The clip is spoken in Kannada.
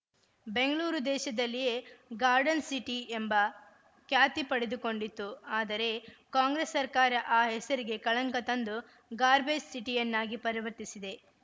ಬೆಂಗ್ಳೂರು ದೇಶದಲ್ಲಿಯೇ ಗಾರ್ಡನ್‌ ಸಿಟಿ ಎಂಬ ಖ್ಯಾತಿ ಪಡೆದುಕೊಂಡಿತ್ತು ಆದರೆ ಕಾಂಗ್ರೆಸ್‌ ಸರ್ಕಾರ ಆ ಹೆಸರಿಗೆ ಕಳಂಕ ತಂದು ಗಾರ್ಬೆಜ್‌ ಸಿಟಿಯನ್ನಾಗಿ ಪರಿವರ್ತಿಸಿದೆ